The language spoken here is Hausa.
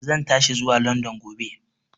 Zan tashi zuwa London gobe.